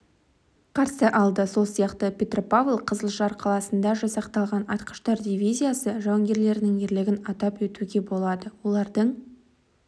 қарсы алды сол сияқты петропавл-қызылжар қаласында жасақталған атқыштар дивизиясы жауынгерлерінің ерлігін атап өтуге болады олардың